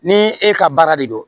Ni e ka baara de don